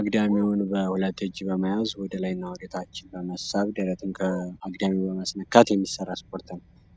አግዳሚውን በሁለት እጅ በመያዝ ወደ ታች እና ወደላይ በመሳብ ደረትን ከአግዳሚው በማስነካት የሚሰራ ስፖርት ነው።